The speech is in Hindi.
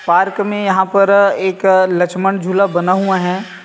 पार्क में यहाँ पर एक लक्ष्मण झूला बना हुआ है।